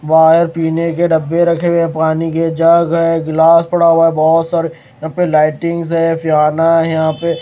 बाहर पीने के डब्बे रखे हुए हैं पानी के जग है गिलास पड़ा हुआ है बहुत सारे यहाँ पे लाइटिंग्स है फ्याना है यहाँ पे --